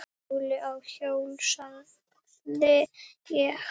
Óli á hjól, sagði ég.